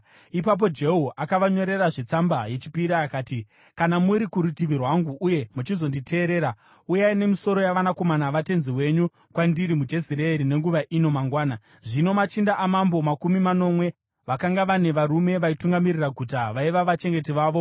Ipapo Jehu akavanyorerazve tsamba yechipiri akati, “Kana muri kurutivi rwangu uye muchizonditeerera, uyai nemisoro yavanakomana vatenzi wenyu kwandiri muJezireeri nenguva ino mangwana.” Zvino machinda amambo, makumi manomwe, vakanga vane varume vaitungamirira guta, vaiva vachengeti vavo.